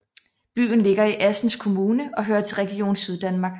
Byen ligger i Assens Kommune og hører til Region Syddanmark